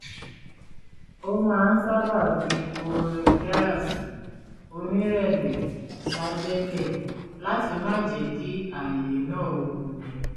ó máa ń sábà fi orin jáàsì onírẹ̀lẹ̀ sábẹ́lẹ̀ láti máa jẹ́ kí àyè náà wuni